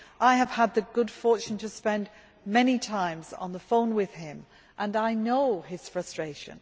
I have had the good fortune to speak many times on the phone with him, and I know his frustration.